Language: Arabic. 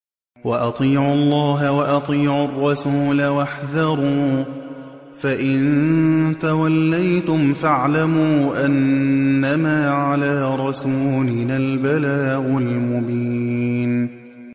وَأَطِيعُوا اللَّهَ وَأَطِيعُوا الرَّسُولَ وَاحْذَرُوا ۚ فَإِن تَوَلَّيْتُمْ فَاعْلَمُوا أَنَّمَا عَلَىٰ رَسُولِنَا الْبَلَاغُ الْمُبِينُ